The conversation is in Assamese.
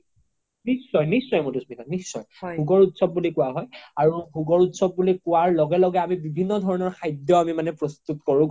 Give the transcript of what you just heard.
নিশ্চয় নিশ্চয় মাধুস্মিতা নিশ্চয় ভুগৰ উত্‍সৱ বুলি কুৱা হয় আৰু ভুগৰ উত্‍সৱ বুলি কুৱাৰ লগে লগে আমি বিভিন্ন ধৰণৰ খাদ্য আমি মানে প্ৰস্তুত কৰো